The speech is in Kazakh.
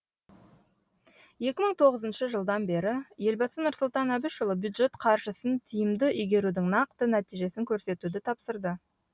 екі мың тоғызыншы жылдан бері елбасы нұрсұлтан әбішұлы бюджет қаржысын тиімді игерудің нақты нәтижесін көрсетуді тапсырды